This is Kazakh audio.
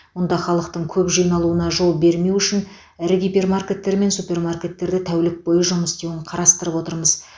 мұнда халықтың көп жиналуына жол бермеу үшін ірі гипермаркеттер мен супермаркеттерді тәулік бойы жұмыс істеуін қарастырып отырмыз